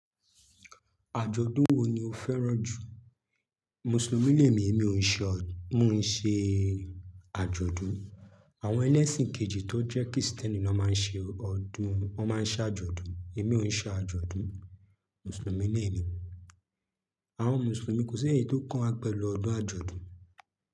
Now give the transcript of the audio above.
Àjọ̀dún wo ni o fẹ́ràn jù? Mùsùlùmí lẹ́ẹ̀mi, èmi ò ṣe od--, mò ń ṣe àjọ̀dún. Àwọn ẹlẹ́ṣìn kejì tó jẹ́ kìrìsìtẹ́nì ló máa ń ṣe ọdún, wọ́n máa ń ṣàjọ̀dún. Èmi ò ń ṣe àjọ̀dún, Mùsùlùmí lẹ́ẹ̀mi. Àwọn Mùsùlùmí kò sí èyí tó kan wa pẹ̀lú ọdún àjọ̀dún.